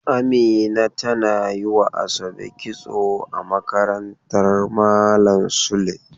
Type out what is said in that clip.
Amina tana yi wa ASabe kitso a makarantan malam Sule.